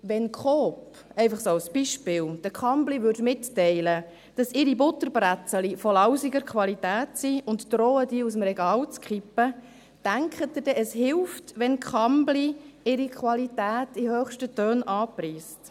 Wenn Coop – einfach so als Beispiel – der Kambly mitteilen würde, dass ihre Butterbrezeln von lausiger Qualität sind, und drohen würde, sie aus dem Regal zu kippen, denken Sie, es hilft, wenn die Kambly ihre Qualität in höchsten Tönen anpreist?